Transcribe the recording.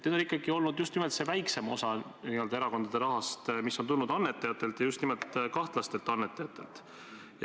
Need on olnud ikkagi nimelt see väiksem osa erakondade rahast, mis on tulnud annetajatelt ja just kahtlastelt annetajatelt.